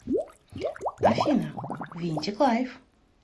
афина винтик лайф